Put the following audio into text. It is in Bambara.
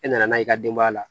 E nana n'a ye i ka denbaya la